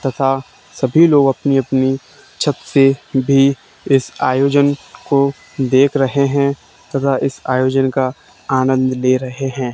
तथा सभी लोग अपनी अपनी छत से भी इस आयोजन को देख रहे हैं तथा इस आयोजन का आनंद ले रहे हैं।